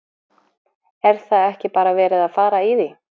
Er það ekki bara verið að fara í því?